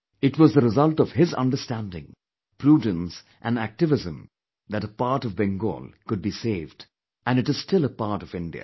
It was the result of his understanding, prudence and activism that a part of Bengal could be saved and it is still a part of India